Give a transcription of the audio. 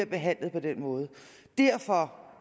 behandles på den måde derfor